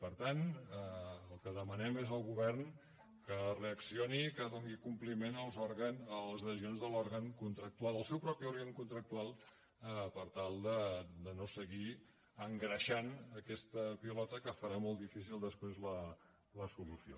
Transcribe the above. per tant el que demanem és al govern que reaccioni que doni compliment a les decisions de l’òrgan contractual del seu propi òrgan contractual per tal de no seguir engreixant aquesta pilota que farà molt difícil després la solució